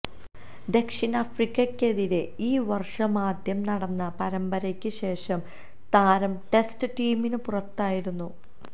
ദക്ഷിണാഫ്രിക്കയ്ക്കെതിരേ ഈ വര്ഷമാദ്യം നടന്ന പരമ്പരയ്ക്കു ശേഷം താരം ടെസ്റ്റ് ടീമിനു പുറത്തായിരുന്നു